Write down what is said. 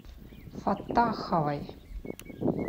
фаттаховой